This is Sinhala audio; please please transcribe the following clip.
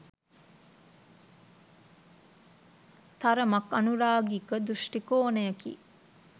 තරමක් අනුරාගික දෘෂ්ටිකෝණයකි